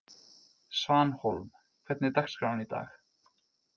Svanhólm, hvernig er dagskráin í dag?